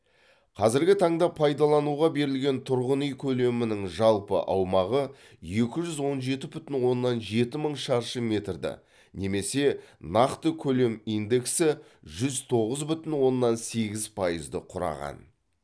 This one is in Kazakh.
қазіргі таңда пайдалануға берілген тұрғын үй көлемінің жалпы аумағы екі жүз он жеті пүтін оннан жеті мың шаршы метрді немесе нақты көлем индексі жүз тоғыз бүтін оннан сегіз пайызды құраған